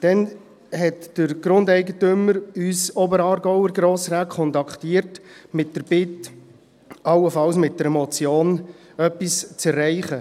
Dann hat der Grundeigentümer uns Oberaargauer Grossräte kontaktiert, mit der Bitte, allenfalls mit einer Motion etwas zu erreichen.